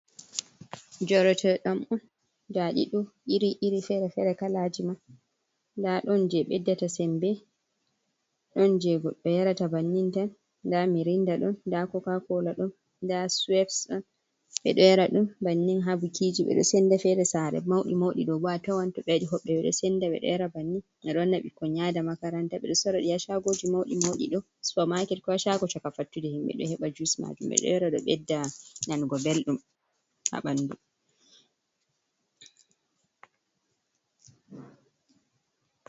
Jorote ɗam on, ndaɗido iri iri, fere-fere, kalajiman nda ɗon je beddata sembe, ɗon jeko do yarata bannin tan, nda mirinda ɗon nda kokakola ɗon, nda suwebs ɗon ɓedoo yara dum bannin, habukijii beɗo senda, fere sare maudi maudi ɗo a tawanto do yai hobɓe meɗoo senda ɓeɗoo yara bannin, ɓe ɗoo wanna ɓikkoi yada makaranta. Ɓeɗoo sorraɗii ya shagoji mauɗi mauɗi, ɗoo sorra ha suupamaket, koo ha shagooji chakafattude himɓɓe ɗoo heɓa jus majuuum ɓeɗoo yaro bedda nanugo belɗum haɓandu.